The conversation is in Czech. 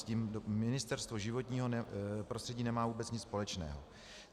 S tím Ministerstvo životního prostředí nemá vůbec nic společného.